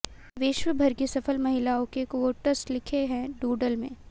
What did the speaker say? विश्व भर की सफल महिलाओं के कुओट्स लिखे हैं डूडल में